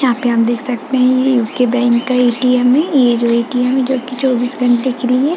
यहाँ पे आप देख सकते हैं ये उको बैंक का ए. टी. एम. ये जो ए. टी. एम. हैं जो की चोबिस घंटे के लिए--